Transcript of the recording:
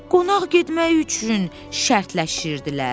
Qonaq getmək üçün şərtləşirdilər.